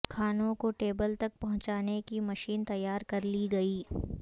کھانوں کو ٹیبل تک پہنچانے کی مشین تیار کرلی گئی